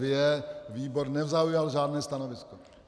Výbor nezaujal žádné stanovisko.